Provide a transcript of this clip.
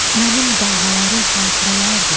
Mənim dalğalarım xatirələrdir,